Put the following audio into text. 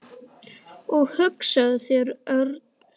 Og hugsaðu þér, Örn.